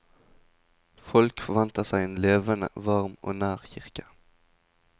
Folk forventer seg en levende, varm og nær kirke.